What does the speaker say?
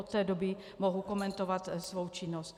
Od té doby mohu komentovat svou činnost.